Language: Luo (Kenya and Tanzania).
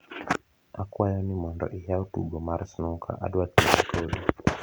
akwayo ni mondo iyaw tugo mar snuka adwa tuge kodi